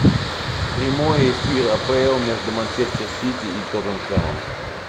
прямой эфир апл между манчестер сити и тоттенхэмом